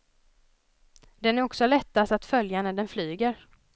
Den är också lättast att följa när den flyger.